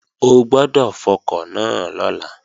O gbọ́dọ̀ fọkọ̀ náà lọ́la!